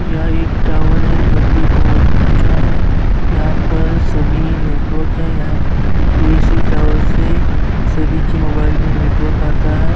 यह पर एक टॉवर है जो कि बोहोत ऊंचा है। यहाँ पर सभी नेटवर्क है। यहाँ इसी टॉवर से सभी के मोबाइल में नेटवर्क आता है।